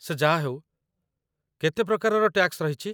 ସେ ଯାହା ହେଉ, କେତେ ପ୍ରକାରର ଟ୍ୟାକ୍ସ ରହିଚି ?